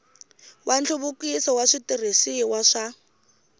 wa nhluvukiso wa switirhisiwa swa